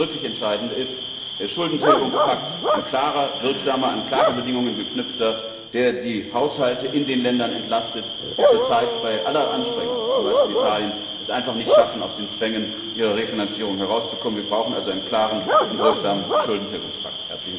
Das zweite wirklich Entscheidende ist der Schuldentilgungspakt, ein klarer, wirksamer, an klare Bedingungen geknüpfter Schuldentilgungspakt, der die Haushalte in den Ländern entlastet, die es zurzeit bei aller Anstrengung zum Beispiel Italien einfach nicht schaffen, aus den Zwängen ihrer Refinanzierung herauszukommen. Wir brauchen also einen klaren und wirksamen Schuldentilgungspakt.